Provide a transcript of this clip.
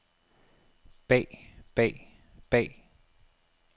bag bag bag